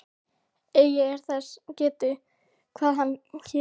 Eigi er þess getið, hvað hann hét.